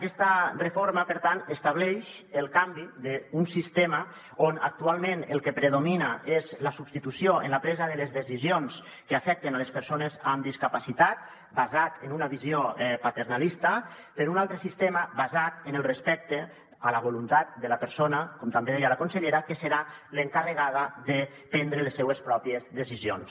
aquesta reforma per tant estableix el canvi d’un sistema on actualment el que predomina és la substitució en la presa de les decisions que afecten les persones amb discapacitat basat en una visió paternalista per un altre sistema basat en el respecte a la voluntat de la persona com també deia la consellera que serà l’encarregada de prendre les seues pròpies decisions